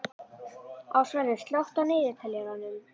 Ásvarður, slökktu á niðurteljaranum.